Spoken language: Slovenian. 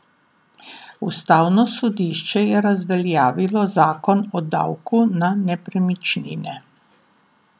Ustavno sodišče je razveljavilo zakon o davku na nepremičnine.